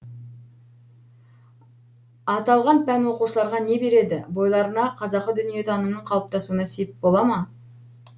аталған пән оқушыларға не береді бойларына қазақы дүниетанымның қалыптасуына сеп бола ма